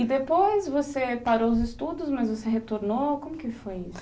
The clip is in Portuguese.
E depois você parou os estudos, mas você retornou, como que foi isso?